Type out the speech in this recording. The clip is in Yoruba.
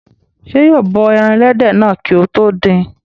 Ṣé yóò bọ ẹran ẹlẹ́dẹ̀ náà kí ó tó dín in?